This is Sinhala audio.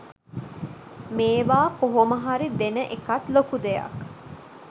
මේවා කොහොමහරි දෙන එකත් ලොකු දෙයක්.